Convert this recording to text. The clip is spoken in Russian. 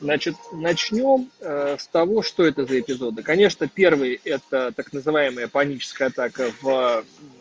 значит начнём с того что это за эпизода конечно первый это так называемая панической атак в